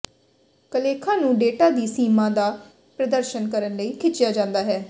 ਕਾਲੇਖਾਂ ਨੂੰ ਡੇਟਾ ਦੀ ਸੀਮਾ ਦਾ ਪ੍ਰਦਰਸ਼ਨ ਕਰਨ ਲਈ ਖਿੱਚਿਆ ਜਾਂਦਾ ਹੈ